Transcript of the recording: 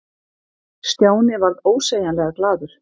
Stjáni varð ósegjanlega glaður.